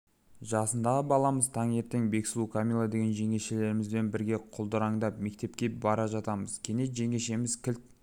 жасындағы баламыз таңертең бексұлу камила деген жеңешелерімізбен бірге құлдыраңдап мектепке бара жатамыз кенет жеңешеміз кілт